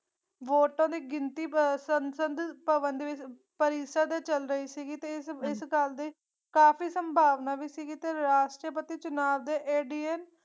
ਵੋਟਾਂ ਦੀ ਗਿਣਤੀ ਵ ਸੰਸਦ ਭਵਨ ਦੇ ਵਿਚ ਪਰਿਸਾ ਤੇ ਚਾਲ ਰਹੀ ਸੀਗੀ ਤੇ ਇਸ ਇਸ ਗੱਲ ਦੀ ਕਾਫੀ ਸੰਭਾਵਨਾ ਵੀ ਸੀਗੇ ਤੇ ਰਾਸ਼ਟਰਪਤੀ ਚੁਣਾਵ ਦੇ